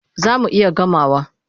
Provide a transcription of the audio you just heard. Za mu iya gamawa.